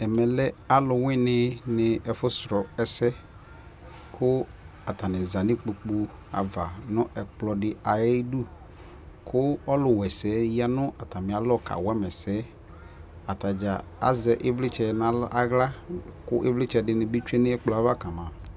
Ɛmɛ lɛ alʋwini ni ayɛfʋ sʋlɔ ɛsɛ kʋ atani za nu ikpokʋ ava nʋ ɛkplɔ di ayidu kʋ ɔlʋwɛsɛ yɛ ya nʋ atami alɔ kawa ma ɛsɛ Atadza azɛ ivlitsɛ n'aɣla kʋ ivlitsɛ di ni bi tsue nʋ ɛkplɔ yɛ ava kama